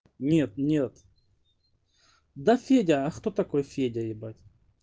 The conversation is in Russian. нет-нет да федя а кто такой федя ебать